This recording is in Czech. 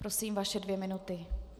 Prosím, vaše dvě minuty.